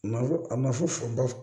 Ma fɔ a ma fɔ ba